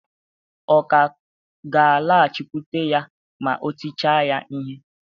Ọ̀ ka ga-alaghachikwute ya ma e tichaa ya ihe?